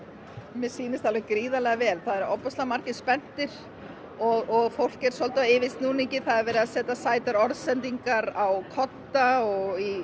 mér sýnist alveg gríðarlega vel ofboðslega margir spenntir og fólk er svolítið á yfirsnúningi það er verið að setja sætar orðsendingar á kodda og í